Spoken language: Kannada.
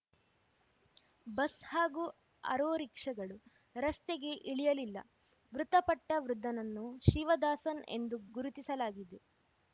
ಬಸ್‌ ಹಾಗೂ ಆರೋರಿಕ್ಷಾಗಳು ರಸ್ತೆಗೆ ಇಳಿಯಲಿಲ್ಲ ಮೃತಪಟ್ಟವೃದ್ಧನನ್ನು ಶಿವದಾಸನ್‌ ಎಂದು ಗುರುತಿಸಲಾಗಿದೆ